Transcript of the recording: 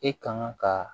E kan ka